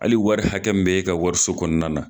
Hali wari hakɛ mun be ka wariso kɔnɔna na